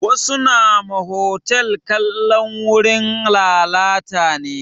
Wasu nama hotal kalan wurin lalata ne